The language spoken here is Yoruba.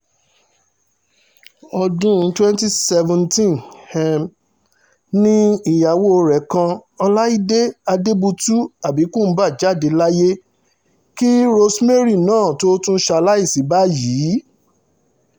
ọdún twenty seventeen ni ìyàwó rẹ̀ kan ọláìdé àdébùtú abikumba jáde láyé kí rosemary náà tóó tún ṣaláìsí báyìí